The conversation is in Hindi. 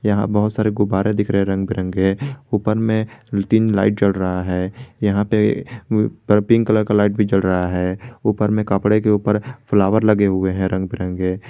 यहां बहुत सारे गुब्बारे दिख रहे रंग बिरंगे ऊपर में तीन लाइट जल रहा है यहां पे पर पिंक कलर का लाइट भी जल रहा है ऊपर में कपड़े के ऊपर फ्लावर लगे हुए हैं रंग बिरंगे।